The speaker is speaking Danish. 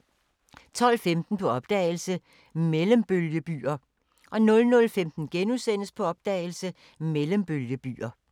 12:15: På opdagelse – Mellembølgebyer 00:15: På opdagelse – Mellembølgebyer *